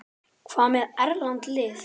Hvað með erlend lið?